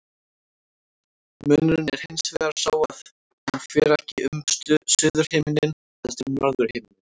Munurinn er hins vegar sá að hún fer ekki um suðurhimininn heldur um norðurhimininn.